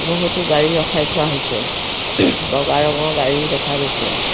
বহুতো গাড়ী ৰখাই থোৱা হৈছে বগা ৰঙৰ গাড়ীও দেখা গৈছে।